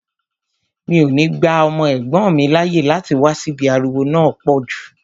Mi ò ní gba ọmọ ẹ̀gbọ́n mi láàyè láti wá síbí, ariwo náà pọ̀ jù